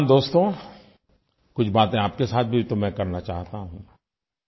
नौजवान दोस्तो कुछ बातें आपके साथ भी तो मैं करना चाहता हूँ